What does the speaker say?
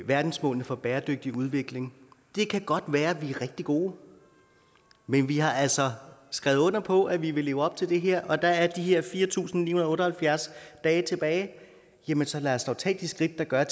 verdensmålene for bæredygtig udvikling det kan godt være vi er rigtig gode men vi har altså skrevet under på at vi vil leve op til det her og der er de her fire tusind ni hundrede og otte og halvfjerds dage tilbage jamen så lad os da tage de skridt der gør